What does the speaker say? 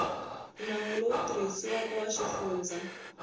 nawu lowu tirhisiwaka wa xifundza